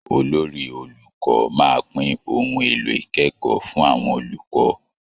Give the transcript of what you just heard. Olori-olùkọ́ máa pín ohun èlò ìkẹ́kọ̀ọ́ fún àwọn olùkọ́